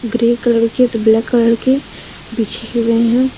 Grey colour की तो black colour के बिछे हुए हैं।